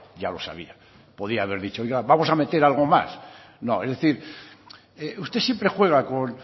ya lo sabía podría haber dicho oiga vamos a meter algo más no es decir usted siempre juega con